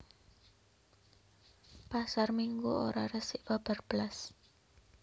Pasar Minggu ora resik babar blas